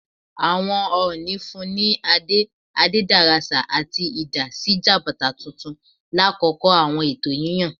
Awọn Ooni funni ni ade Adederasa ati idà si Jabata tuntun lakoko awọn ẹtọ yiyan.